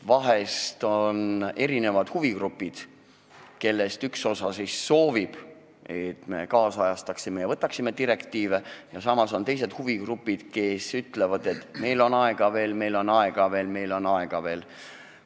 Vahel on meil huvigrupid, kellest üks osa soovib, et me ajakohastaksime ja võtaksime direktiive üle, aga samas on teised, kes ütlevad, et meil on aega veel, meil on aega veel, meil on aega veel.